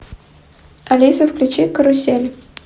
алиса включи карусель